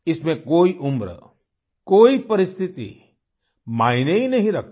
इसमें कोई उम्र कोई परिस्थिति मायने ही नहीं रखती